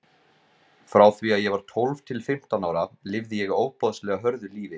Frá því að ég var tólf til fimmtán ára lifði ég ofboðslega hörðu lífi.